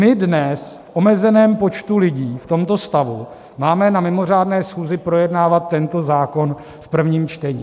My dnes v omezeném počtu lidí, v tomto stavu, máme na mimořádné schůzi projednávat tento zákon v prvním čtení.